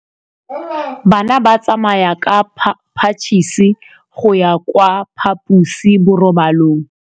Bana ba tsamaya ka phašitshe go ya kwa phaposiborobalong.